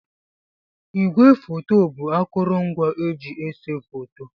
Ígwé fòto bụ akurungwa eji ese fòto.